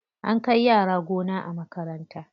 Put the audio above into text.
An kai yara gona a makaranta.